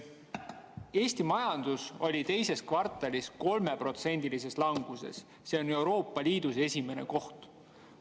Eesti majandus oli teises kvartalis 3%-lises languses, Euroopa Liidus esimesel kohal.